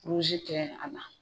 kɛ a la